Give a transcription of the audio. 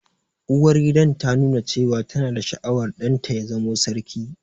Uwargidan ta nuna cewa ta na da sha'awar ɗan ta ya zamo sarki